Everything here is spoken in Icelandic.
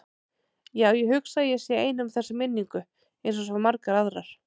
Já, ég hugsa að ég sé ein um þessa minningu einsog svo margar aðrar.